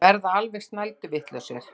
Verða alveg snælduvitlausir.